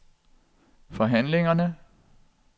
forhandlingerne